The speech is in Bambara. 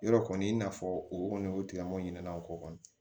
Yɔrɔ kɔni i n'a fɔ o kɔni o tigilamɔgɔ ɲinana o ko kɔni